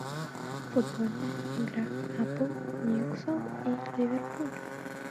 футбольная игра апл ньюкасл и ливерпуль